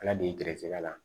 Ala de ye gɛrɛsɛgɛ la